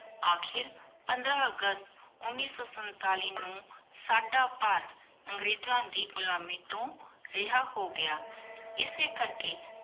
ਅਖੀਰ ਪੰਦ੍ਰ ਅਗਸਤ ਉਨੀ ਸੋ ਸੰਤਾਲਿਸ ਨੂ ਸਦਾ ਭਾਰਤ ਅੰਗ੍ਰੇਜ਼ਾਂ ਦੇ ਘੁਲਮਿ ਤੋ ਰਿਹਾ ਹੋ ਗਯਾ ਇਸੀ ਕਰ ਕੀ